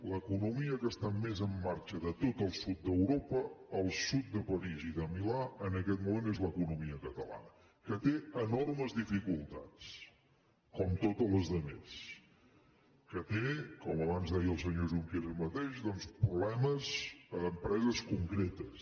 l’economia que està més en marxa de tot el sud d’europa al sud de parís i de milà en aquest moment és l’economia catalana que té enormes dificultats com totes les altres que té com abans deia el senyor junqueras mateix doncs problemes amb empreses concretes